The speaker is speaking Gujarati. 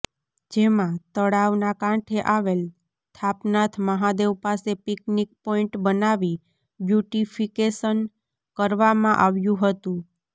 જેમાં તળાવના કાંઠે આવેલ થાપનાથ મહાદેવ પાસે પિકનીક પોઈન્ટ બનાવી બ્યુટીફીકેશન કરવામાં આવ્યું હતું